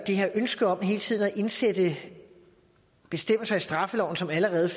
her ønske om hele tiden at indsætte bestemmelser i straffeloven som allerede